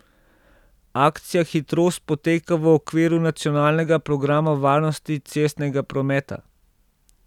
Akcija Hitrost poteka v okviru nacionalnega programa varnosti cestnega prometa.